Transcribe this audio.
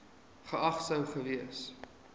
geag sou gewees